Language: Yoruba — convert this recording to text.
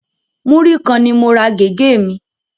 Múrí kan ni mo ra gẹ̀gẹ́ mi